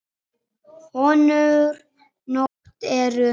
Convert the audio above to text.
Önnur not eru